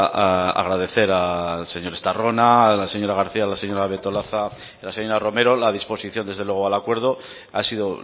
agradecer al señor estarrona a la señora garcía la señora betolaza y la señora romero la disposición desde luego al acuerdo ha sido